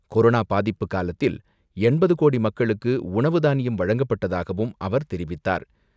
Corona பாதிப்பு காலத்தில் எண்பது கோடி மக்களுக்கு உணவு தானியம் வழங்கப்பட்டதாகவும் அவர் தெரிவித்தார்.